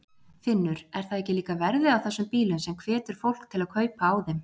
Finnur: Er það líka verðið á þessum bílum sem hvetur fólk til kaupa á þeim?